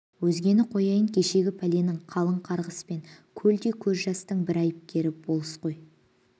өзгені қояйын кешегі пәленің қалың қарғыс пен көлдей көз жастың бір айыпкері болыс қой